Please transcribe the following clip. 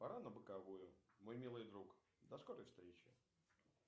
пора на боковую мой милый друг до скорой встречи